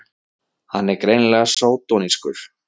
Hann er greinilega sódónískur!